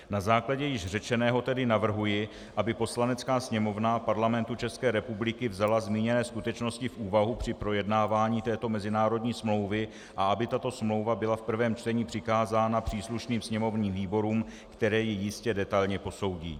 Na základě již řečeného tedy navrhuji, aby Poslanecká sněmovna Parlamentu České republiky vzala zmíněné skutečnosti v úvahu při projednávání této mezinárodní smlouvy a aby tato smlouva byla v prvém čtení přikázána příslušným sněmovním výborům, které ji jistě detailně posoudí.